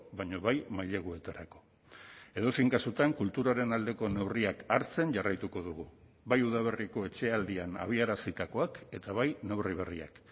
baina bai maileguetarako edozein kasutan kulturaren aldeko neurriak hartzen jarraituko dugu bai udaberriko etxealdian abiarazitakoak eta bai neurri berriak